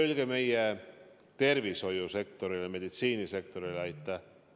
Öelge meie tervishoiusektorile, meditsiinisektorile aitäh!